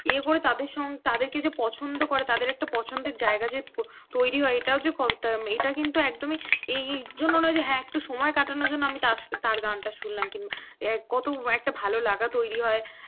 ইয়ে করে তাদের কে যে পছন্দ করে তাদের একটা পছন্দের জায়গা তৈরি হয় এটাও যে কতটা এটা কিন্তু একদমই এই জন্য নয় যে হ্যাঁ একটু সময় কাটানোর জন্য আমি তার সঙ্গে তার গানটা শুনলাম কিম্বা কত একটা ভালো লাগা তৈরি হয়